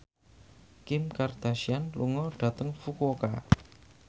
Kim Kardashian lunga dhateng Fukuoka